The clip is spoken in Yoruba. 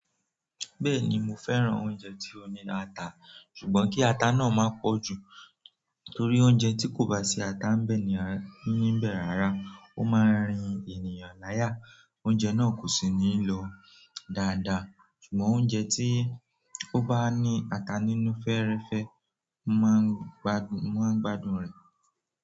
Bẹ́ẹ̀ni mo fẹ́ràn oúnjẹ tí ó ní ata, ṣùgbọ́n kí ata náà má pọ̀ jù torí oúnjẹ tí kò bá sí ata ńbẹ̀ ni níbẹ̀ rárá. Ó máa rin ènìyàn láyà, oúnjẹ náà kò sì ní lọ dáadáa. Ṣùgbọ́n oúnjẹ tí ó bá ní ata nínú fẹ́ẹ́rẹ́fẹ́, mo máa ń gbádùn rẹ̀.